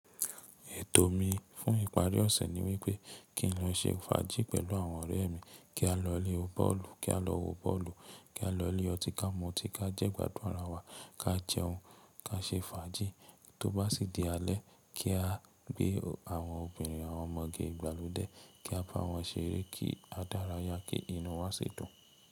Ètò mi fún ìparí ọ̀sẹ̀ ni wípé kí n lọ ṣe fàájì pẹ̀lú àwọn ọ̀rẹ́ mi, kí a lọ ilé bọ́ọ̀lù, kí a lọ wo bọ́ọ̀lù, kí a lọ ilé ọtí kà mú ọtí, ká jẹ́ gbádùn ara wa, ká jẹun, ká ṣe fàájì tó bá sì di alẹ́, kí á gbé àwọn obìnrin àwọn ọmọge ìgbàlódé, kí a bá wọn ṣeré, kí a dá ara ya, kí inú wa sì dùn.